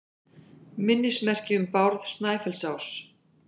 Minnismerki um Bárð Snæfellsás.